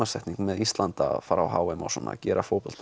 tímasetning með Ísland að fara á h m að gera